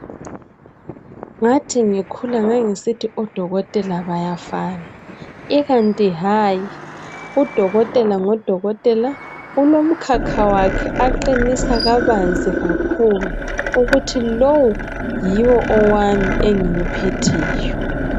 Ngathi ngikhula ngangisithi odokotela bayafana ikanti hayi udokotela ngodokotela ulomkhakha wakhe aqinisa kabanzi kakhulu ukuthi lowu yiwo owami engiwuphetheyo.